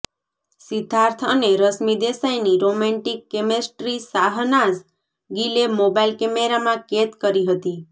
સિદ્ધાર્થ અને રશ્મિ દેસાઈની romantic chemistry Shehnaaz ગીલે મોબાઈલ કેમેરામાં કેદ કરી હતી